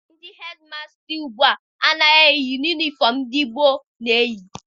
Ndị hedịmasta ugbua agaghị eyi ụdị yunifọm ndị mgbe gboo na-eyi.